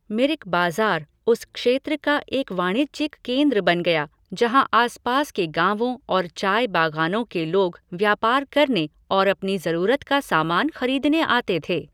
मिरिक बाजार उस क्षेत्र का एक वाणिज्यिक केंद्र बन गया जहाँ आसपास के गाँवों और चाय बागानों के लोग व्यापार करने और अपनी जरूरत का सामान खरीदने आते थे।